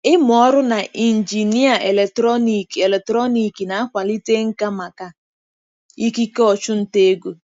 Ịmụ ọrụ na injinịa eletrọnịkị eletrọnịkị na-akwalite nka maka ikike ọchụnta ego.